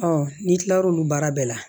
n'i kilar'olu baara bɛɛ la